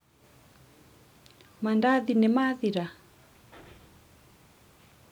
mandathi nĩmathira?